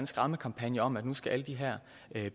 skræmmekampagne om at nu skal alle de her